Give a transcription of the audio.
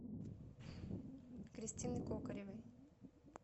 кристины кокоревой